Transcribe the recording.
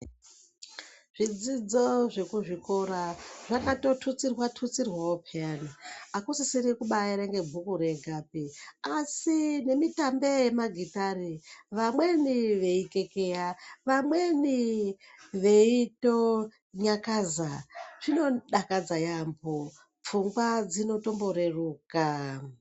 Zvidzidzo zvekuzvikora zvakat otutsirwa tutsirwawo peyana. Hakusisiri kubaaerenga bhuku regapi asi nemitambi yemagitare, vamweni veikekeya, vamweni veitonyakaza. Zvinodakadza yaambo, pfungwa dzino tomboreruka.